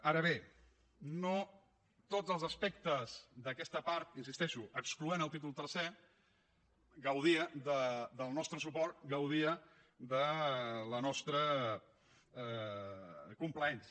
ara bé no tots els aspectes d’aquesta part hi insisteixo excloent el títol tercer gaudia del nostre suport gaudia de la nostra complaença